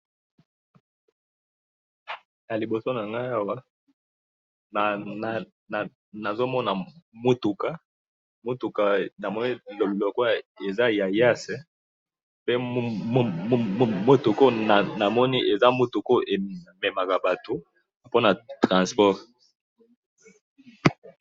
Naliboso nangayi awa, nazomona mutuka, mutuka namoni lokola eza ya iyas, pe mutuka oyo namoni eza mutuka oyo ememaka batu pona transport.